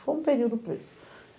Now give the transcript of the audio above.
Ficou um período preso.